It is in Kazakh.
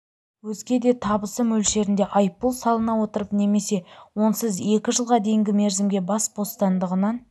өзге де табысы мөлшерінде айыппұл салына отырып немесе онсыз екі жылға дейінгі мерзімге бас бостандығынан